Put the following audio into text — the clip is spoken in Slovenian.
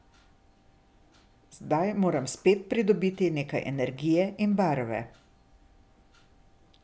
Zdaj moram spet pridobiti nekaj energije in barve.